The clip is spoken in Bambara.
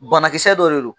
Banakisɛ dɔ de don